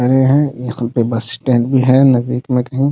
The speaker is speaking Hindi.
खड़े है इस रूट पे बस स्टैंड भी है नजदीक में कही।